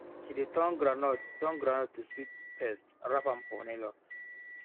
she dey turn groundnut turn groundnut to sweet paste wrap am for nylon